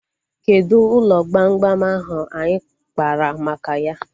Kedụ ụlọ gbamgbam ahu anyị kpaara maka ya?